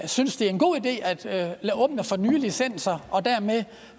synes det er en god idé at åbne for nye licenser og dermed